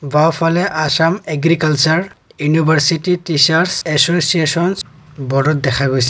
বাওঁফালে Assam agricultural university teachers associations ব'ৰ্ডত দেখা গৈছে।